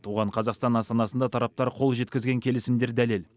оған қазақстан астанасында тараптар қол жеткізген келісімдер дәлел